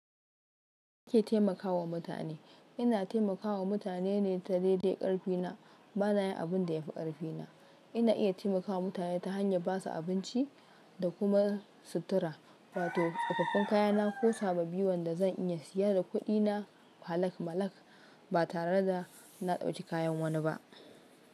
Ke taimakawa mutane. Ina taimakawa mutane ne ta daidai karfina. Bana yin abin da ya fi karfina. Ina iya taimakawa mutane ta hanyar ba su abinci da kuma sutura, wa to tsofaffin kayana ko sababbi wanda zan iya siya da kuɗina halak malak ba tare da na dauki kayan wani ba.